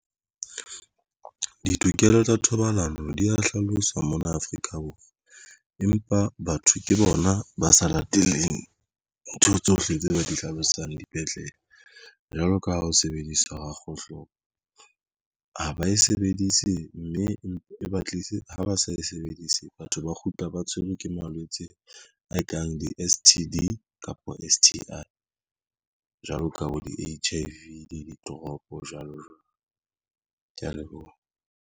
Ditokelo tsa thobalano di ya hlaloswa mona Afrika Borwa. Empa batho ke bona ba sa lateleng ntho tsohle tse ba di hlalosang dipetlele jwalo ka ha ho sebedisa kgohlopo ha ba e sebedise mme e ba tlise ha ba sa e sebedise. Batho ba kgutla ba tshwerwe ke malwetse a e kang di-S_T_D kapa S_T_I jwalo ka bo di-H_I_V le di-drop jwalo jwalo. Ke ya leboha.